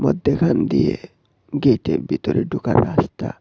মদ্যেখান দিয়ে গেটের ভেতরে ঢোকার রাস্তা।